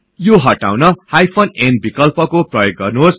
यो हटाउन hyphen n विकल्पको प्रयोग गर्नुहोस्